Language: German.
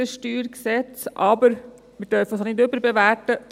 wir dürfen dies aber nicht überbewerten.